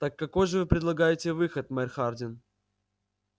так какой же вы предлагаете выход мэр хардин